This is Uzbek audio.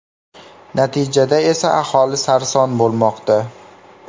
Natijada esa aholi sarson bo‘lmoqda.